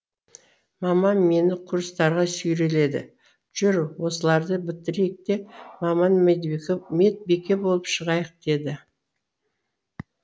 мамам мені курстарға сүйреледі жүр осыларды бітірейік те маман медбике болып шығайық деді